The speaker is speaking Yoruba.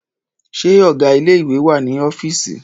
Ṣé ọgá ilé ìwé wà ní ọ́fìísì?